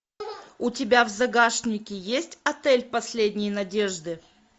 у тебя в загашнике есть отель последней надежды